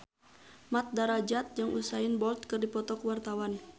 Mat Drajat jeung Usain Bolt keur dipoto ku wartawan